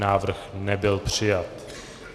Návrh nebyl přijat.